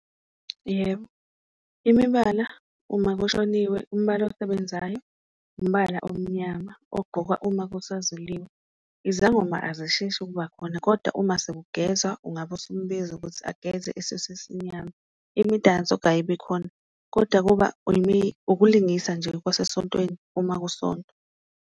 Yebo, imibala uma kushoniwe umbala osebenzayo umbala omnyama ogqokwa uma kusaziliwe, izangoma azisheshi ukuba khona kodwa uma sekugezwa ungabe usumbiza ukuthi ageze esuse isimnyama. Imidanso kayibi khona koda kuba ukulingisa nje kwasesontweni uma kusontwa.